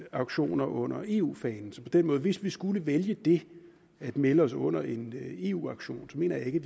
aktioner under eu fanen så hvis vi skulle vælge det at melde os under en eu aktion mener jeg ikke